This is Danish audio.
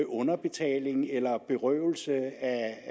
underbetaling eller berøvelse af